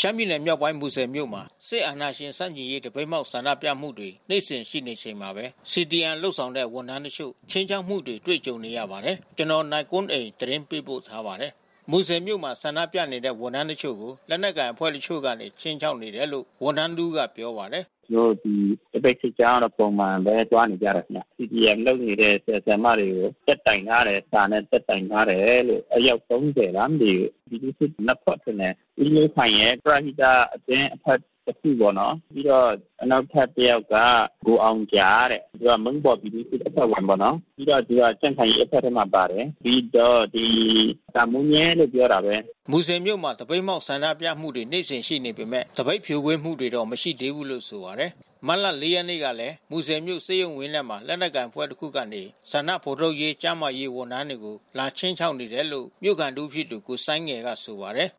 ရှမ်းပြည်နယ်မြောက်ပိုင်း မူဆယ်မြို့မှာ စစ်အဏာရှင်ဆန့်ကျင်ရေး သပိတ်မှောက်ဆန္ဒပြမှုတွေ နေ့စဉ်ရှိနေချိန်မှာပဲ CDM လုပ်တဲ့ ဝန်ထမ်းတချို့ ခြိမ်းခြောက်မှုတွေကြုံနေရပါတယ်။ ဒီအကြောင်း ဗွီအိုအေသတင်းထောက် နိုင်ကွန်းအိန် သတင်းပေးပို့ထားပါတယ်။ မူဆယ်မြို့မှာ ဆန္ဒပြနေကြတဲ့ ဝန်ထမ်းတချို့ကို လက်နက်ကိုင်အဖွဲ့တချို့ကနေ ခြိမ်းခြောက်နေတယ်လို့ ဝန်ထမ်း တဦးကပြောပါတယ်။ “ကျနော်တို့ ဒီသပိတ်စစ်ကြောင်းက ပုံမှန်ပဲသွားနေကြတယ်။ CDM လုပ်နေတဲ့ဆရာ ဆရာမတွေကို တက်တိုင် ထားတယ်။ စာနဲ့တက်တိုင်ထားတယ်လို့ အယောက် (၃၀) လားမသိဘူး။ ပြည်သူ့စစ်နှစ်ဖွဲ့ထင်တယ်။ ဦးမျိုးခိုင်ရယ် ပရဟိတအသင်းအဖွဲ့တခုပေါ့နော်။ ပြီးတော့ နောက်ထပ်တယောက်က ကိုအောင်ဂျာတဲ့။ သူက မုန်းပေါ်ပြည်သူ့ စစ် အဖွဲ့ဝင်ပေါ့နော်။ ပြီးတော့သူက ကြံ့ခိုင်ရေးအဖွဲ့ထဲမှာ ပါတယ်။ ပြီးတော့ဒီ တာမိုးညဲကလို့ ပြောပာတာပဲ။” မူဆယ်မြို့မှာ သပိတ်မှောက်ဆန္ဒပြမှုတွေ နေ့စဉ်ရှိနေပေမဲ့ သပိတ်ဖြိုခွင်းမှုတွေတော့ မရှိသေးဘူးလို့ ဆိုပါတယ်။ မတ်လ (၄) ရက်နေ့ကလည်း မူဆယ်မြို့ဆေးရုံဝင်းထဲမှာ လက်နက်ကိုင်အဖွဲ့တခုကနေ ဆန္ဒဖော်ထုတ်ကျန်းမာရေး ဝန်ထမ်းတွေကို လာခြိမ်းခြောက်နေတယ်လို့ မြို့ခံတဦးဖြစ်သူကိုစိုင်းငယ်က ဆိုပါတယ်။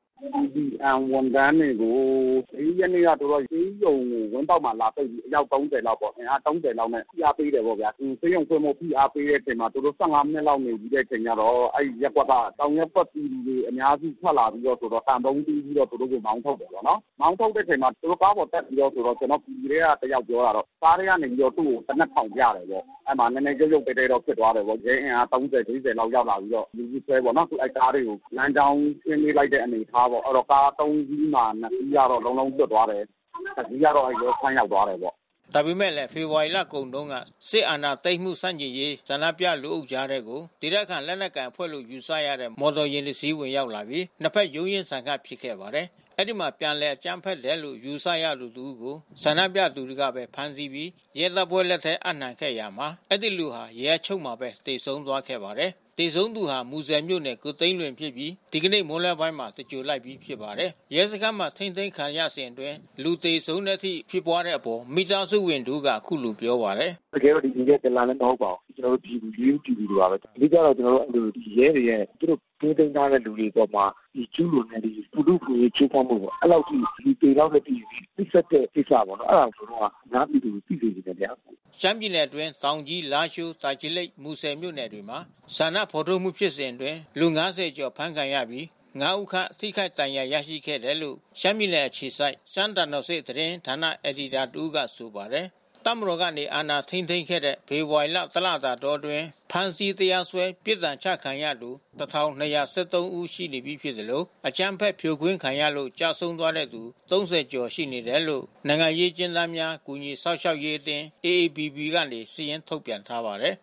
“CDM ဝန်ထမ်းတွေကို (၄) ရက်က သူတို့ဆေးရုံဝင်းပေါက်မှာလာပိတ်ပြီး အယောက် (၃၀) လောက်ပေါ့။ အင်အား (၃၀) လောက်နဲ့ ဖိအားပေးတယ်ပေါ့ဗျာ။ ဒီဆေးရုံဆင်းဖို့ဖိအားပေးတဲ့အချိန်မှာ သူတို့ (၁၅) မိနစ်လောက်နေပြီးအခါကျတော့ အဲဒီရပ်ကွက်က တောင်ရပ်ကွက်ပြည်သူတွေအများစု ထွက်လာပြီးတော့ သံပုံးတီးပြီးတော့ သူတို့ ကို မောင်းထုတ်တယ်ပေါ့နော်။ မောင်းထုတ်တဲ့အချိန်မှာ ကားပေါ်တက်ပြီးတော့ ကျနော်တို့ ပြည်သူထဲကတယောက်ပြောတာတော့ ကားထဲကနေပြီးတော့ သူ့ကို သေနတ်ထောင်ပြတယ်ပေါ့။ အဲဒီမှာရုပ်ရုပ်သဲသဲတော့ ဖြစ်သွားတာပေါ့။ ရဲအင်အား (၃၀)(၄၀) ရောက်လာပြီးတော့ လူစုခွဲပေါ့နော်။ အဲဒီကားတွေကို လမ်းကြောင်းရှင်းပေးလိုက်တဲ့ အနေအထားပေါ့။ အဲဒီတော့ကား (၃) စီးမှာ (၂) စီးလွတ်သွားတယ်။ တစီးကတော့ရဲစခန်း ရောက်သွားတယ်ပေါ့။” ဒါပေမဲ့ ဖေဖော်ဝါရီလကုန်တုန်းက စစ်အာဏာသိမ်းမှုဆန့်ကျင်ရေး ဆန္ဒပြလူအုပ်ကြားထဲကို ဒေသခံလက်နက်ကိုင်အဖွဲ့လို့ယူဆရတဲ့ မော်တော်ယဉ်တစင်း ဝင်ရောက်လာပြီး နှစ်ဘက်ရုန်းရင်းဆန်ခတ်ဖြစ်ခဲ့ပါတယ်။ အဲဒီမှာ ပြန်လည်အကြမ်းဖက်တယ်လို့ ယူဆရသူတဦးကို ဆန္ဒပြသူတွေကပဲဖမ်းပြီး ရဲတပ်ဖွဲ့လက်ထဲ အပ်နှံခဲ့ရာမှာ အဲဒီလူဟာ ရဲအချုပ်ထဲမှာပဲ သေဆုံးသွားခဲ့ပါတယ်။ သေဆုံးသူဟာ မူဆယ်မြို့နေ ကိုသိန်းလွင်ဖြစ်ပြီး ဒီကနေ့မွန်းလွဲပိုင်းမှာ သြင်္ဂိုဟ်လိုက်ပြီးဖြစ်ပါတယ်။ ရဲစခန်းမှာထိန်းသိမ်းခံရစဉ်အတွင်းလူသေဆုံးတဲ့အထိဖြစ်ပွါးတဲ့အပေါ် မိသားစုဝင်တဦးက အခုလိုပြောပါတယ်။ “တကယ်တော့သူ ဒလန်လည်း မဟုတ်ပါဘူး။ ရိုးရိုးပြည်သူတွေပါပဲ။ အဓိကတော့ ဒီ ရဲတွေရဲ့ သူတို့ထိန်းသိမ်းထားတဲ့လူတွေအပေါ်မှာ ကျူးလွန်နေတဲ့ ဒီလူ့အခွင့်အရေးချိုးဖောက်မှုပေါ့။ အဲဒီလောက်အထိ သေလောက်တဲ့အထိ နှိပ်စက်တဲ့ကိစ္စပေါ့နော်။ အဲဒါကို ကျနော်တို့က အများပြည်သူကို သိစေချင်တယ်။” ရှမ်းပြည်နယ်အတွင်း တောင်ကြီး၊ လားရှိုး၊ တာချီလိတ်၊ မူဆယ်မြို့နယ်တွေမှာ ဆန္ဒဖော်ထုတ်မှုဖြစ်စဉ်အတွင်း လူ (၅၀) ကျော်အဖမ်းဆီးခံရပြီး (၅) ဦးခန့် ထိခိုက်ဒဏ်ရာရရှိခဲ့တယ်လို့ ရှမ်းပြည်နယ်အခြေစိုက် ရှမ်းသံတော်ဆင့်သတင်း ဌာနအယ်ဒီတာတဦးက ဆိုပါတယ်။ တပ်မတော် အာဏာထိန်းသိမ်းခဲ့တဲ့ ဖေဖော်ဝါရီ တလတာအတွင်း ဖမ်းဆီး၊ တရားစွဲ ပြစ်ဒဏ်ချခံရသူ ၁,၂၁၃ ဦး ရှိပြီဖြစ်သလို အကြမ်းဖက် ဖြိုခွင်းခံရလို့ ကျဆုံးသွားခဲ့သူ ၃၀ ဦးခန့် ရှိခဲ့တယ်လို့ နိုင်ငံရေး အကျဉ်းသားများ ကူညီစောင့်ရှောက်ရေးအသင်း (AAPP) က စာရင်းထုတ်ပြန်ထားပါတယ်